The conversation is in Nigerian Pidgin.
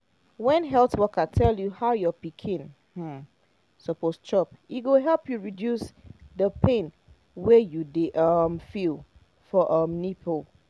when health worker tell you how your pikin um suppose chop e go help you reduce the pain wey you dey um feel for um nipple